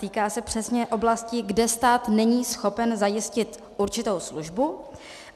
Týká se přesně oblasti, kde stát není schopen zajistit určitou službu.